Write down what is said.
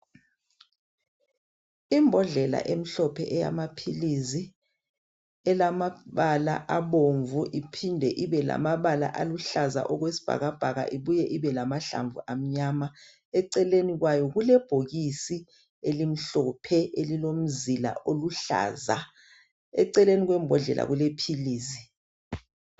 Imbodlela emhlophe eyamaphilisi ilamabala abomvu iphinde ibelamabala aluhlaza okwesibhakabhaka ibuye ibelamahlamvu amnyama eceleni kwayo kulebhokisi elimhlophe elilomzila oluhlaza. Eceleni kwembodlela kulephilisi.